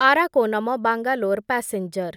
Arakkonam Bangalore passenger